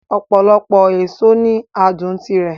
Ọ̀pọ̀lọpọ̀ èso ní adùn tirẹ̀